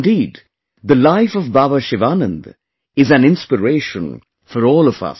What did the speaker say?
Indeed, the life of Baba Sivananda is an inspiration for all of us